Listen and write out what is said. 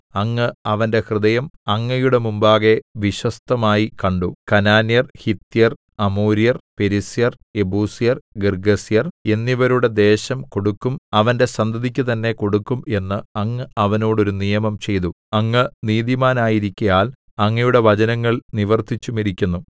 അങ്ങ് അവന്റെ ഹൃദയം അങ്ങയുടെ മുമ്പാകെ വിശ്വസ്തമായി കണ്ടു കനാന്യർ ഹിത്യർ അമോര്യർ പെരിസ്യർ യെബൂസ്യർ ഗിർഗ്ഗസ്യർ എന്നിവരുടെ ദേശം കൊടുക്കും അവന്റെ സന്തതിക്ക് തന്നെ കൊടുക്കും എന്ന് അങ്ങ് അവനോട് ഒരു നിയമം ചെയ്തു അങ്ങ് നീതിമാനായിരിക്കയാൽ അങ്ങയുടെ വചനങ്ങൾ നിവർത്തിച്ചുമിരിക്കുന്നു